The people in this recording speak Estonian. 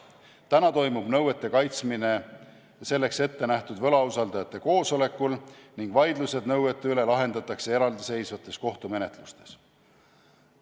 Praegu toimub nõuete kaitsmine selleks ette nähtud võlausaldajate koosolekul ning vaidlused nõuete üle lahendatakse eraldiseisvates kohtumenetlustes.